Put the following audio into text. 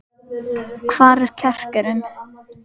Hvar er kjarkurinn?